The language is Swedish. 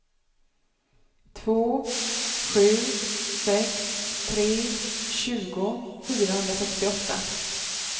två sju sex tre tjugo fyrahundrasextioåtta